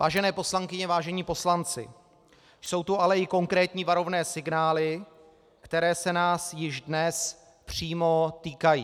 Vážené poslankyně, vážení poslanci, jsou tu ale i konkrétní varovné signály, které se nás již dnes přímo týkají.